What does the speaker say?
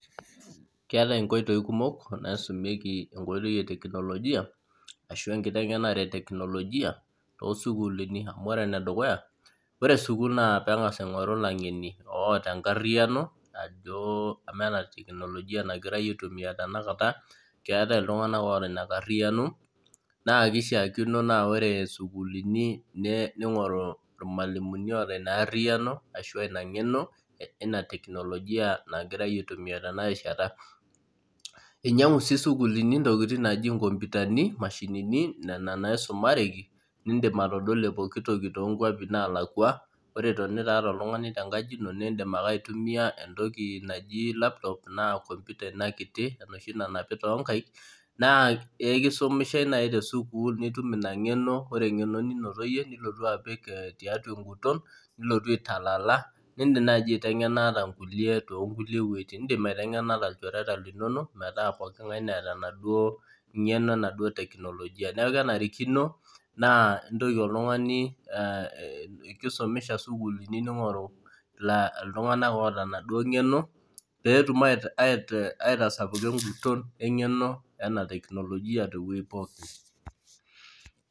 Keetae nkoitoi kumok naisumieki enkoitoi eteknolojia ashu enkitengenare eteknolojia toosukulini ,amu ore enedukuya ore sukul nengas aingoru langeni oota enkariano ajo enaa ena teknolojia nagirae aitumiyia tenakata keetae iltrungank oota ina kariano naa kishaakino naa ore sukuulini ningoru irmalimuni oota ina kariano ashua ina ngeno ina teknolojia nagirae aitumiyia tenakata. einyangua sii sukul nkoputani nena mashinini nena naisumareki nindim atodua pooki toki toonkwapi naalakwa ,ore itonita oltungani ata tenkaji ino nindim ake aitumiyia entoki naji laptop naa computer kiti enoshi nanapi toonkaek ,naa ekisumishae naaji tesukul nitum ina ngeno ninoto yie nilotu apik taiatua enguton nilotu aitalala nindim naaji aitengana nkulie metaa pooki ngane neeta enaduo ngeno enaduo teknolojia .neeku kenarikino nisumisha sukulini iltunganak oota ena duo ngeno pee etum aitasapuka engeno ena teknolojia teweji pookin.